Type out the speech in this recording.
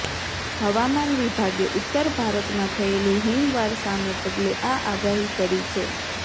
હવામાન વિભાગે ઉત્તર ભારતમાં થયેલી હિમવર્ષાને પગલે આ આગાહી કરી છે